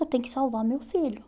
Eu tenho que salvar meu filho.